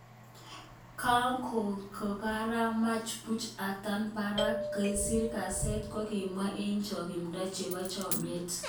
Kanko karamach buch atach Barrack,"kasir ,kaset kokibwa eng chonkimdo chebo chomiet.